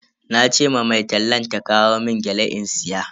Nace ma mai tallan ta kawo mun gyale in siya.